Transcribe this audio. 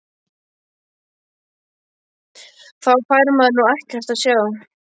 Þá fær maður nú ekkert að sjá!!